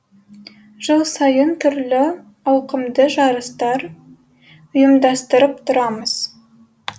жыл сайын түрлі ауқымды жарыстар ұйымдастырып тұрамыз